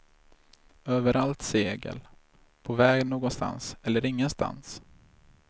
Överallt segel, på väg någonstans eller ingenstans.